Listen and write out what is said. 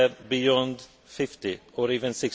beyond 50, or even